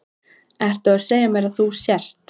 Ertu að segja mér að þú sért.